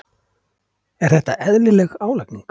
Er þetta eðlileg álagning?